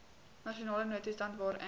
nasionale noodtoestand waarin